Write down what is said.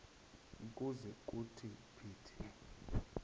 ukuze kuthi phithi